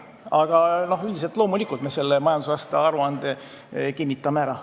Aga loomulikult me selle majandusaasta aruande kinnitame ära.